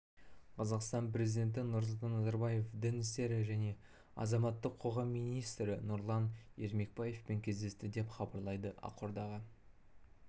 қазақстан президенті нұрсұлтан назарбаев дін істері және азаматтық қоғам министрі нұрлан ермекбаевпен кездесті деп хабарлайды ақордаға